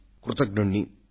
కృతజ్ఞుడిని